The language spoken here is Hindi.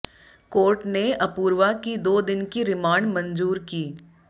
कोर्ट ने अपूर्वा की दो दिन की रिमांड मंजूर की